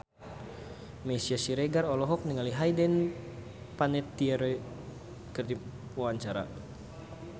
Meisya Siregar olohok ningali Hayden Panettiere keur diwawancara